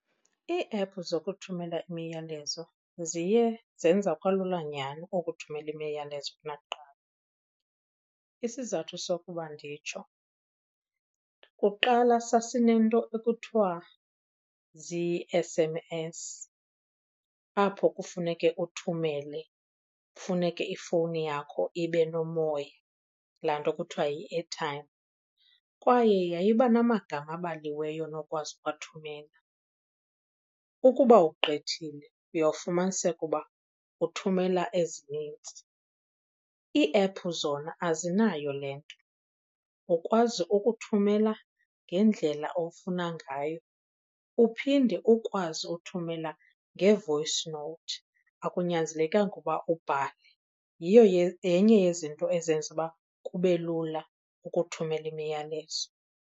Ii-app zokuthumela imiyalezo ziye zenza kwalula nyhani ukuthumelela imiyalezo kunakuqala. Isizathu sokuba nditsho, kuqala sasinento ekuthiwa zii-S_M_S apho kufuneke uthumele, kufuneke ifowuni yakho ibe nomoya, laa nto kuthiwa yi-airtime. Kwaye yayiba namagama abaliweyo onokwazi ukuwathumela, ukuba ugqithile uyofumaniseka uba uthumela ezinintsi. Ii-app zona azinayo le nto, ukwazi ukuthumela ngendlela ofuna ngayo uphinde ukwazi uthumela nge-voice note akunyanzelekanga uba ubhale. Yiyo , yenye yezinto ezenza uba kube lula ukuthumela imiyalezo.